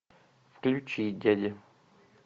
включи дядя